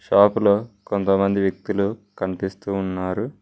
Shop లో కొంతమంది వ్యక్తులు కనిపిస్తూ ఉన్నారు.